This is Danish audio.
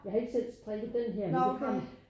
Jeg har ikke selv strikket den her men det har